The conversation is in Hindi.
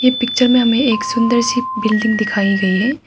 पिक्चर में हमे एक सुंदर सी बिल्डिंग दिखाई गई है।